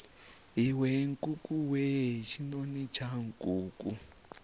iwe nkukuwe tshinoni tsha nkuku